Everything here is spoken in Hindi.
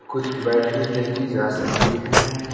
कुछ बैटरीस देखी जा सकती हैं।